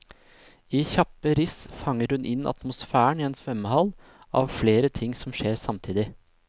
I kjappe riss fanger hun inn atmosfæren i en svømmehall, av flere ting som skjer samtidig.